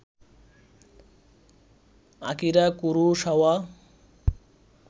Akira Kurosawa